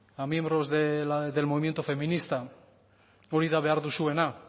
a miembros del movimiento feminista hori da behar duzuena